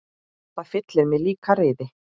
Það fyllir mig líka reiði.